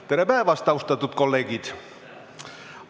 Tere päevast, austatud kolleegid!